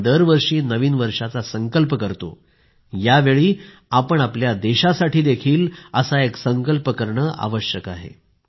आपण दरवर्षी नवीन वर्षाचा संकल्प करतो यावेळी आपण आपल्या देशासाठी देखील एक संकल्प करणे आवश्यक आहे